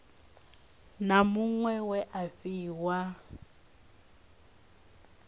na muṅwe we a fhiwa